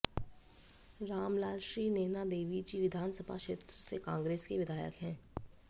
राम लाल श्री नैना देवीजी विधानसभा क्षेत्र से कांग्रेस के विधायक हैं